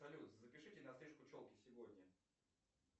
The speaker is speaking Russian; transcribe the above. салют запишите на стрижку челки сегодня